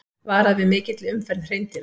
Varað við mikilli umferð hreindýra